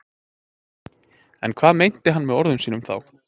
En hvað meinti hann með orðum sínum þá?